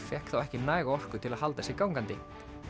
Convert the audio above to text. fékk þá ekki næga orku til að halda sér gangandi